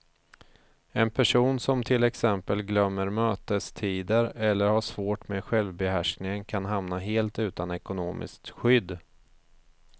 En person som till exempel glömmer mötestider eller har svårt med självbehärskningen kan hamna helt utan ekonomiskt skydd.